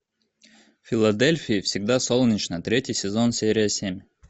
в филадельфии всегда солнечно третий сезон серия семь